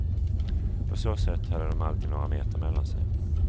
På så sätt hade de alltid några meter mellan sig.